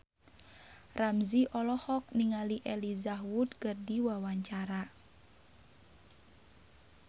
Ramzy olohok ningali Elijah Wood keur diwawancara